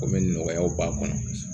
Komi nɔgɔyaw b'a kɔnɔ